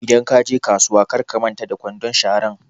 Idan kaje kasuwa kar ka manta da kwandon sharan